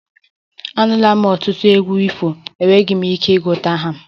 Anụla m ọtụtụ egwu ifo, enweghị m ike ịgụta ha